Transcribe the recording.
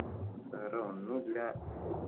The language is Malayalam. വേറെ ഒന്നും ഇല്ല